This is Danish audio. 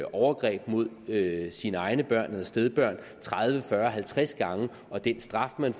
overgreb mod sine egne børn eller stedbørn tredive fyrre halvtreds gange og den straf man